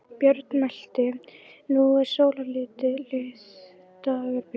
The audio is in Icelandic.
Björn mælti: Nú eru sólarlitlir dagar, piltar!